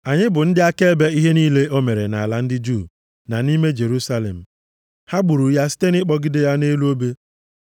“Anyị bụ ndị akaebe ihe niile o mere nʼala ndị Juu na nʼime Jerusalem. Ha gburu ya site nʼịkpọgide ya nʼelu obe.